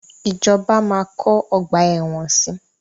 Ìjọba máa kọ́ ọgbà ẹ̀wọ̀n si.